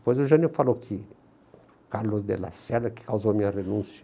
Depois o Jânio falou que Carlos de la Serra que causou a minha renúncia.